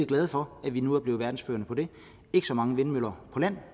glade for at vi nu er blevet verdensførende på det ikke så mange vindmøller på land